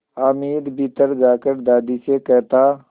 हामिद भीतर जाकर दादी से कहता